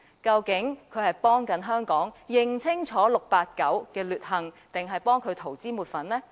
究竟他是在幫助香港人認清 "689" 的劣行，還是要為他塗脂抹粉呢？